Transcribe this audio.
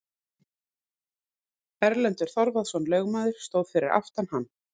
Erlendur Þorvarðarson lögmaður stóð fyrir aftan hann.